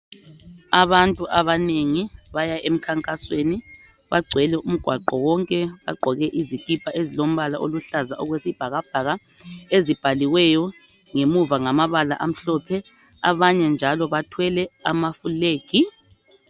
Abantu abanengi baya emkhankasweni bagcwele umgwaqo wonke bagqoke izikipa ezilombala oluhlaza okwesibhakabhaka ezibhaliweyo ngemuva ngamabala amhlophe, abanye njalo bathwele amafulegi.